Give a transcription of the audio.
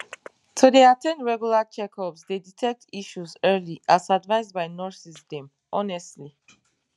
to dey at ten d regular checkups dey detect issues early as advised by nurses dem honestly